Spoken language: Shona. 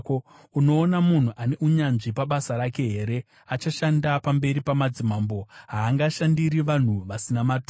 Unoona munhu ane unyanzvi pabasa rake here? Achashanda pamberi pamadzimambo; haangashandiri vanhu vasina maturo.